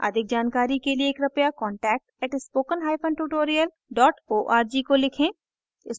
अधिक जानकारी के लिए कृपया contact @spokentutorial org को लिखें